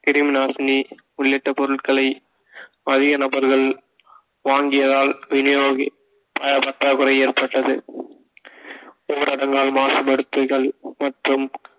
கிருமிநாசினி உள்ளிட்ட பொருட்களை அதிக நபர்கள் வாங்கியதால் விநியோகிக்க பற்றாக்குறை ஏற்பட்டது ஊரடங்கால் மாசுபடுத்துதல் மற்றும்